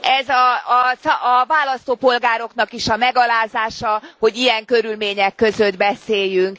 Ez a választópolgároknak is a megalázása, hogy ilyen körülmények között beszéljünk.